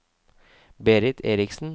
Berit Eriksen